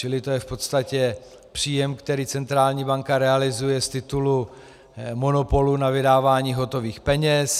Čili to je v podstatě příjem, který centrální banka realizuje z titulu monopolu na vydávání hotových peněz.